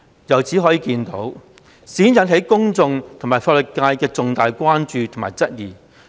由此可見，事件引起公眾及法律界重大關注及質疑。